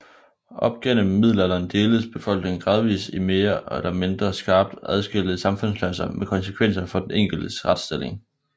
Op gennem middelalderen deltes befolkningen gradvis i mere eller mindre skarpt adskilte samfundsklasser med konsekvenser for den enkeltes retsstilling